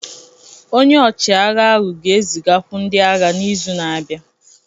Onye ọchịagha ahụ ga-ezigakwu ndị agha n'izu na-abịa